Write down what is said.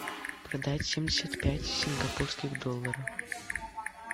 продать семьдесят пять сингапурских долларов